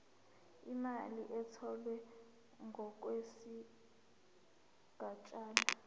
imali etholwe ngokwesigatshana